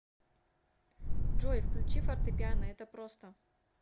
джой включи фортепиано это просто